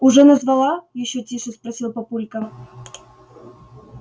уже назвала ещё тише спросил папулька